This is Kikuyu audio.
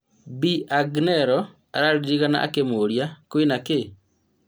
Bi Agneroh araririkana akĩmuria "kwĩ na kĩ?"